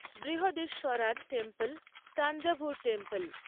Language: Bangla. Brihadeeswarar temple Thanjavur temple